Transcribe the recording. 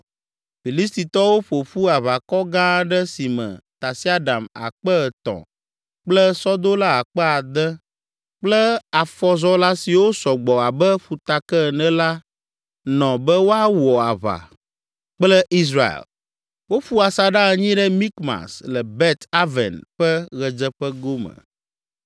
Filistitɔwo ƒo ƒu aʋakɔ gã aɖe si me tasiaɖam akpe etɔ̃ (3,000) kple sɔdola akpe ade (6,000) kple afɔzɔla siwo sɔ gbɔ abe ƒutake ene la nɔ be woawɔ aʋa kple Israel. Woƒu asaɖa anyi ɖe Mikmas, le Bet Aven ƒe ɣedzeƒe gome.